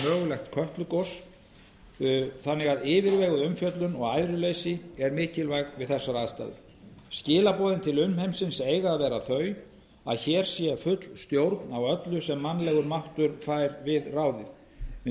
mögulegt kötlugos þannig að yfirveguð umfjöllun og æðruleysi er mikilvæg við þessar aðstæður skilaboðin til umheimsins eiga að vera þau að hér sé full stjórn á öllu sem mannlegur máttur fær við ráðið við